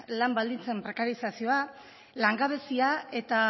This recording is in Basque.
lan baldintzen prekarikazioak langabezia eta